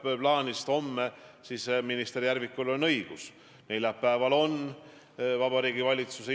Me teame ajaloost juhtumeid, kui inimestele on üks asi olnud nii armas, et kõik teised asjad on ära unustatud, kaasa arvatud enda väärtused.